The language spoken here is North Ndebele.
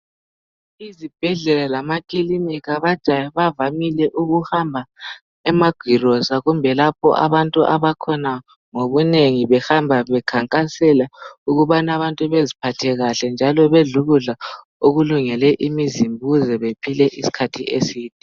IZibhedlela lamaKiliniki bavamile ukuhamba emagirosa kumbe lapho abantu abakhona ngobunengi behamba bekhankasela ukubana beziphathe kuhle, njalo bedle ukudla okulungele imizimba ukuze bephile isikhathi eside.